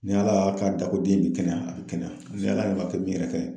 Ni ala y'a k'a da ko den in bi kɛnɛya, a bi kɛnɛya. Ni Ala ma kɛ min yɛrɛ